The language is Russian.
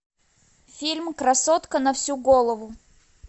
фильм красотка на всю голову